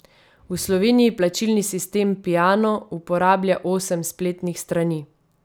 V Sloveniji plačilni sistem Piano uporablja osem spletnih strani.